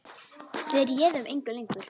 Við réðum engu lengur.